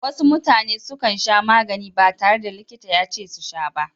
Wasu mutane sukan sha magani ba tare da likita yace su sha ba.